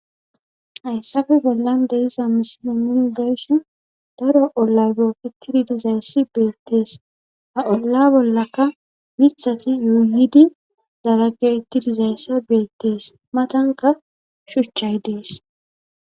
Hayssafe bollan deiza misina yunibessiin daro olla beketidi dizayssi beettees a olla bollaka mithati yuuhidi dalage ittidizayssa beettees matanka shuchchay dees